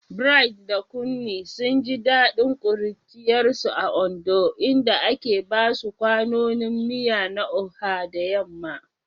Bright da Kunmi sun ji dadin kuruciyarsu a Ondo, inda ake basu kwanonin miya na Oha da yamma.